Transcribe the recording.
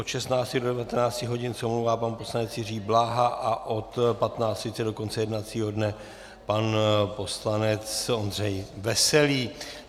Od 16 do 19 hodin se omlouvá pan poslanec Jiří Bláha a od 15.30 do konce jednacího dne pan poslanec Ondřej Veselý.